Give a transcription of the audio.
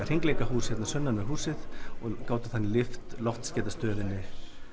hringleikahús sunnan við húsið og gátum þannig lyft loftskeytastöðinni